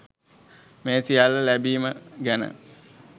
මේ සියල්ල ලැබීම ගැන